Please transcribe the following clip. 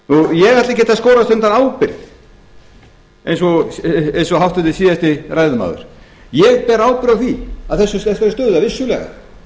ég ætla ekkert að skorast undan ábyrgð eins og háttvirtur síðasti ræðumaður ég ber ábyrgð á þessari stöðu vissulega